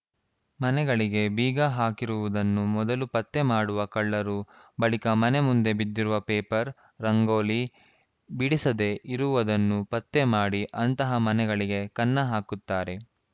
ಮನೆಗಳಿಗೆ ಬೀಗ ಹಾಕಿರುವುದನ್ನು ಮೊದಲು ಪತ್ತೆ ಮಾಡುವ ಕಳ್ಳರು ಬಳಿಕ ಮನೆ ಮುಂದೆ ಬಿದ್ದಿರುವ ಪೇಪರ್‌ ರಂಗೋಲಿ ಬಿಡಿಸದೇ ಇರುವುದನ್ನು ಪತ್ತೆ ಮಾಡಿ ಅಂತಹ ಮನೆಗಳಿಗೆ ಕನ್ನ ಹಾಕುತ್ತಾರೆ